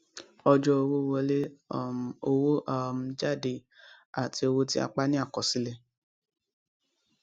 ọjọ owó wọlé um owó um jáde àti owó tí a pa ni àkọsílẹ